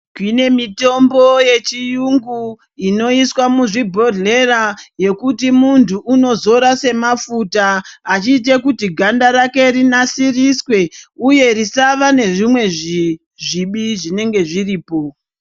Tine mitombo yechiyungu inoiswa muzvibhodhlera yekuti muntu unozore semafuta achiite kuti ganda rake rinasiriswe uye risava nezvimwe zvibi zvinenge zviripo.